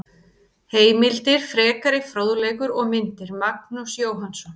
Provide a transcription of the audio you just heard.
Heimildir, frekari fróðleikur og myndir: Magnús Jóhannsson.